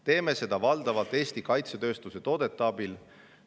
Teeme seda valdavalt Eesti kaitsetööstuse toodete abil.